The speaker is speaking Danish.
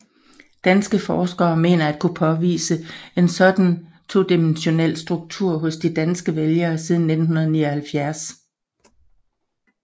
Danske forskere mener at kunne påvise en sådan todimensionel struktur hos de danske vælgere siden 1979